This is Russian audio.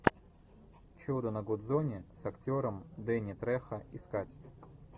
чудо на гудзоне с актером дэнни трехо искать